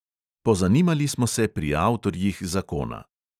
Pozanimali smo se pri avtorjih zakona.